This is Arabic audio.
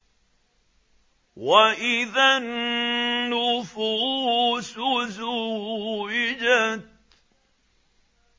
وَإِذَا النُّفُوسُ زُوِّجَتْ